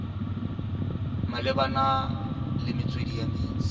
malebana le metswedi ya metsi